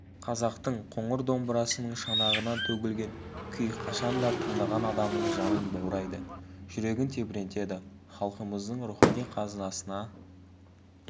қазақтың қоңыр домбырасының шанағынан төгілген күй қашанда тыңдаған адамның жанын баурайды жүрегін тебірентеді халқымыздың рухани қазынасына